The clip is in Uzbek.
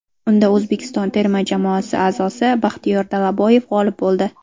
Unda O‘zbekiston terma jamoasi a’zosi Baxtiyor Dalaboyev g‘olib bo‘ldi.